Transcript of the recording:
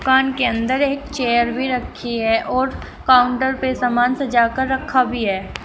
दुकान के अंदर एक चेयर भी रखी है और काउंटर पे सामान सजा कर रखा भी है।